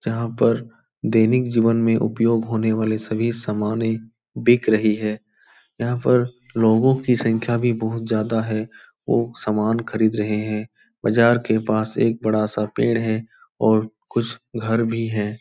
जहाँ पर दैनिक जीवन में उपयोग होने वाले सभी सामानें बिक रही है। यहाँ पर लोगों की संख्या भी बहुत ज्यादा है। वो सामान खरीद रहें हैं। बाजार के पास एक बड़ा सा पेड़ है और कुछ घर भी हैं।